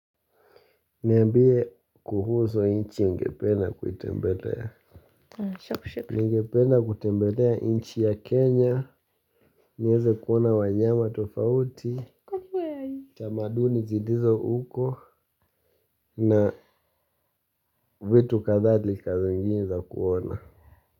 Niambie kuhusu inchi ungependa kuitembelea. Ningependa kutembelea inchi ya kenya. Nieze kuona wanyama tofauti tamaduni zilizo uko na vitu kadhali ka zingini za kuona.